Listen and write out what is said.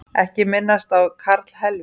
Ekki minnast á karlhelvítið